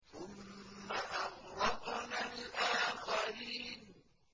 ثُمَّ أَغْرَقْنَا الْآخَرِينَ